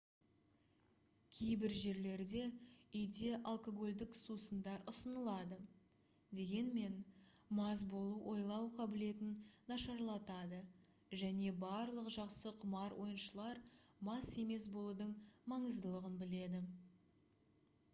кейбір жерлерде үйде алкогольдік сусындар ұсынылады дегенмен мас болу ойлау қабілетін нашарлатады және барлық жақсы құмар ойыншылар мас емес болудың маңыздылығын біледі